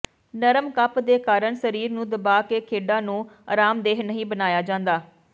ਨਰਮ ਕੱਪ ਦੇ ਕਾਰਨ ਸਰੀਰ ਨੂੰ ਦਬਾਅ ਕੇ ਖੇਡਾਂ ਨੂੰ ਅਰਾਮਦੇਹ ਨਹੀਂ ਬਣਾਇਆ ਜਾਂਦਾ